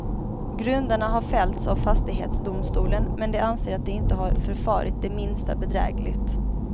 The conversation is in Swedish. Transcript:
Grundarna har fällts av fastighetsdomstolen, men de anser att de inte har förfarit det minsta bedrägligt.